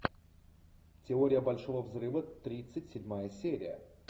теория большого взрыва тридцать седьмая серия